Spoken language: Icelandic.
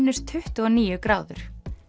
tuttugu og níu gráður